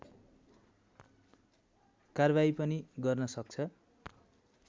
कारबाही पनि गर्न सक्छ